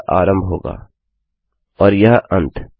अतः यह आरंभ होगा और यह अंत